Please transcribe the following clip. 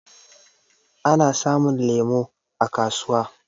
Ana samun lemu a kasuwa.